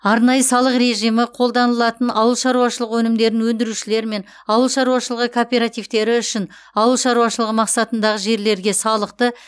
арнайы салық режимі қолданылатын ауыл шаруашылығы өнімдерін өндірушілер мен ауыл шаруашылығы кооперативтері үшін ауыл шаруашылығы мақсатындағы жерлерге салықты